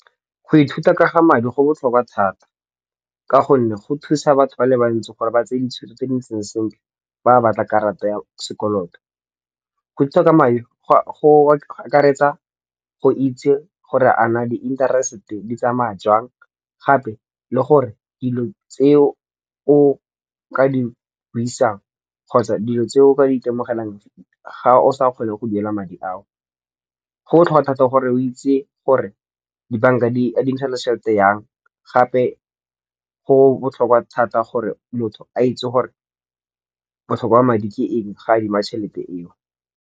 Go ithuta ka ga madi go botlhokwa thata. Ka gonne go thusa batho ba le bantsi gore ba tseye ditšhono tse di ntseng sentle fa a batla karata ya sekolo to. Go akaretsa go itsi gore a na di interest di tsamaya jwang gape le gore dilo tseo o ka di buisang kgotsa dilo tseo o ka di itemogelang ga osa kgone go duela madi ao. Go botlhokwa thata gore o itsi gore dibanka di adimisana tšhelete yang gape go botlhokwa thata gore motho a itsi gore botlhokwa ba madi ke eng fa a adima tšhelete eo.